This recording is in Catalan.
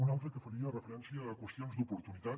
un altre que faria referència a qüestions d’oportunitat